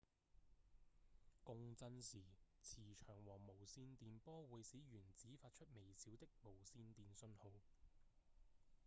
共振時磁場和無線電波會使原子發出微小的無線電信號